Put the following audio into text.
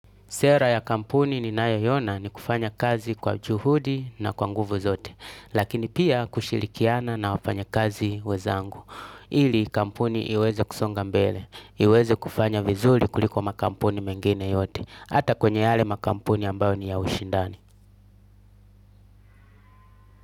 Sera ya kampuni ninayoiona ni kufanya kazi kwa juhudi na kwa nguvu zote, lakini pia kushirikiana na wafanya kazi wenzangu. Ili kampuni iweze kusonga mbele, iweze kufanya vizuri kuliko makampuni mengine yote, ata kwenye yale makampuni ambayo ni ya ushindani.